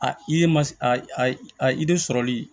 A i de ma s a i de sɔrɔli